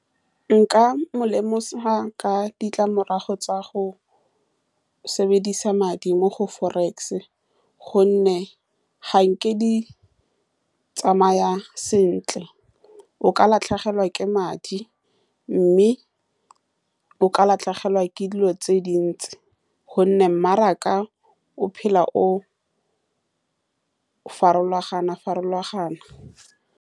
Nka mo lemosa ka ditlamorago tsa go sebedisa madi mo go forex, ka gonne ga nke di tsamaya sentle, o ka latlhegelwa ke madi, mme o ka latlhegelwa ke dilo tse dintsi, ka gonne mmaraka o phela o farologana-farologana.